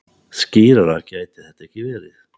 Skýrara gæti þetta ekki verið.